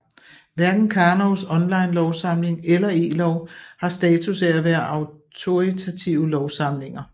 Hverken Karnovs online lovsamling eller elov har status af at være autoritative lovsamlinger